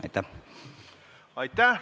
Aitäh!